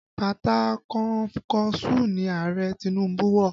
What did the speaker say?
Bàtà kọnkọṣúù ni Ààrẹ Tinubu wọ̀